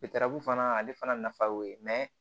fana ale fana nafa y'o ye